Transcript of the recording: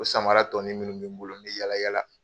O samara tɔɔnin minnu mi n bolo n mi yala yala